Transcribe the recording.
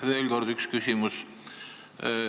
Veel üks küsimus.